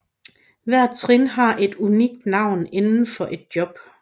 Hver trin har et unikt navn inden for et job